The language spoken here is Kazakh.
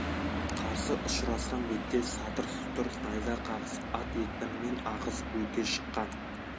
қарсы ұшырасқан бетте сатыр сұтыр найза қағысып ат екпінімен ағызып өте шыққан